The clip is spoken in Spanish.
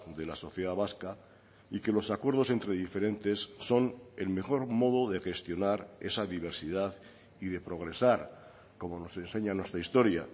de la sociedad vasca y que los acuerdos entre diferentes son el mejor modo de gestionar esa diversidad y de progresar como nos enseña nuestra historia